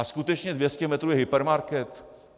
A skutečně 200 metrů je hypermarket?